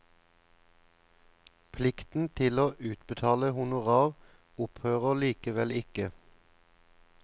Plikten til å utbetale honorar opphører likevel ikke.